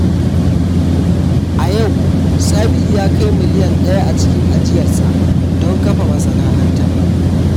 A yau, Sabiu ya kai miliyan daya a cikin ajiyarsa don kafa masana’anta.